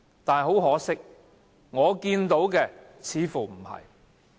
但很可惜，我看到的似乎不是這樣。